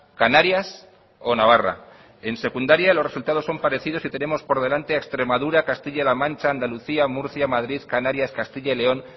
canarias o navarra en secundaria los resultados son parecidos y tenemos por delante a extremadura castilla la mancha andalucía murcia madrid canarias castilla y león